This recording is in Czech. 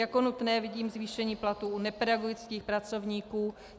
Jako nutné vidím zvýšení platů u nepedagogických pracovníků.